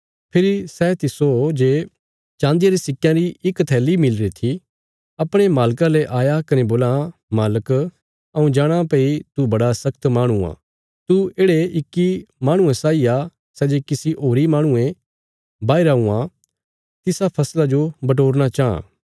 फेरी सै तिस्सो जे चान्दिया रे सिक्कयां री इक थैली मिलीरी थी अपणे मालका ले आया कने बोलां मालक हऊँ जाणाँ भई तू बड़ा शख्त माहणु आ तू येढ़े इक्की माहणुये साई आ सै जे किसी होरीं माहणुयें बाहीरा हुआं तिसा फसला जो बटोरना चांह